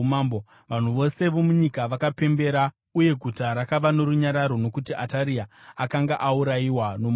vanhu vose vomunyika vakapembera. Uye guta rakava norunyararo nokuti Ataria akanga aurayiwa nomunondo.